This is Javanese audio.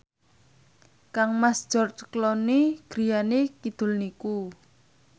kangmas George Clooney griyane kidul niku